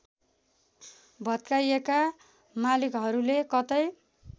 भत्काइएका मालिकहरूले कतै